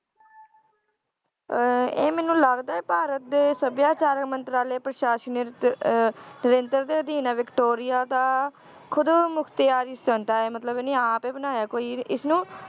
ਅਹ ਇਹ ਮੈਨੂੰ ਲੱਗਦਾ ਹੈ ਭਾਰਤ ਦੇ ਸਭਿਆਚਾਰ ਮੰਤਰਾਲੇ ਪ੍ਰਸ਼ਾਸਨਿਰਤ ਅਹ ਦੇ ਅਧੀਨ ਹੈ ਵਿਕਟੋਰੀਆ ਦਾ ਖੁੱਦ ਮੁਖਤਿਆਰੀ ਹੈ ਮਤਲਬ ਇਹਨੇ ਆਪ ਹੀ ਬਣਾਇਆ ਹੈ ਕੋਈ ਇਸਨੂੰ